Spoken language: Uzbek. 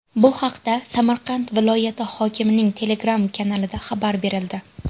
Bu haqda Samarqand viloyati hokimining Telegram kanalida xabar berildi .